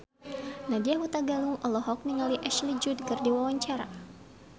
Nadya Hutagalung olohok ningali Ashley Judd keur diwawancara